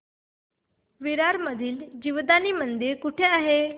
विरार मधील जीवदानी मंदिर कुठे आहे